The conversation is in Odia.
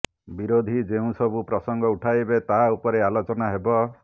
ବିରୋଧୀ ଯେଉଁ ସବୁ ପ୍ରସଙ୍ଗ ଉଠାଇବେ ତାହା ଉପରେ ଆଲୋଚନା ହେବ